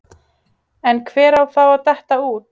En hver á þá að detta út?